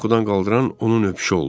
Məni yuxudan qaldıran onun öpüşü oldu.